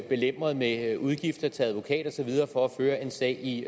belemret med udgifter til advokat og så videre for at føre en sag i